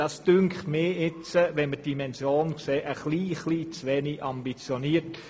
Das scheint mir angesichts der Dimension des Ganzen etwas zu wenig ambitioniert.